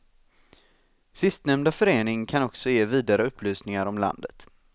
Sistnämnda förening kan också ge vidare upplysningar om landet.